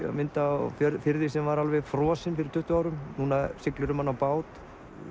að mynda á firði sem var alveg frosinn fyrir tuttugu árum núna siglirðu um hann á bát